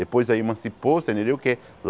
Depois aí emancipou, você entendeu que?